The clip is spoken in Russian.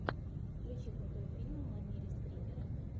включи крутой фильм в манере скримера